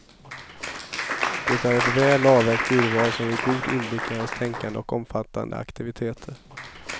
Det är ett väl avvägt urval som ger god inblick i hans tänkande och omfattande aktiviteter.